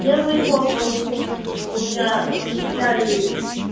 я звоню по вопросу у меня сняли